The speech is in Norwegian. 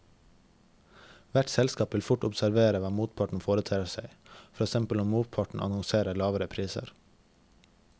Hvert selskap vil fort observere hva motparten foretar seg, for eksempel om motparten annonserer lavere priser.